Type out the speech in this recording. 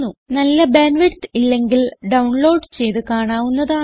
നല്ല bandwidth ഇല്ലെങ്കിൽ download ചെയ്ത് കാണാവുന്നതാണ്